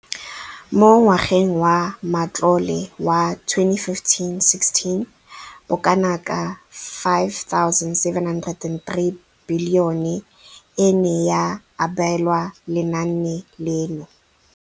Mo ngwageng wa matlole wa 2015,16, bokanaka R5 703 bilione e ne ya abelwa lenaane leno.